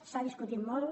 s’ha discutit molt